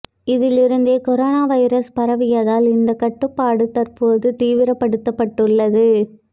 இதிலிருந்தே corona virus பரவியதால் இந்த கட்டுப்பாடு தற்போது தீவிரப்படுத்தப்பட்டுள்ளது